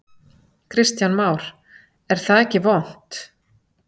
Kristján Már: Er það ekki vont?